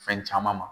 Fɛn caman ma